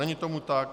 Není tomu tak.